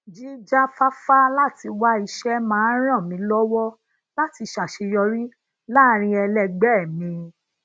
jijafafa lati wa ise máa ń ràn mí lówó láti saseyori laarin elegbee mi